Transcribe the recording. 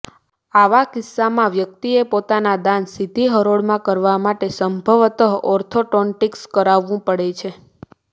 આવા કિસ્સામાં વ્યક્તિએ પોતાના દાંત સીધી હરોળમાં કરવા માટે સંભવતઃ ઓર્થોટોન્ટિક્સ કરાવવું પડે છે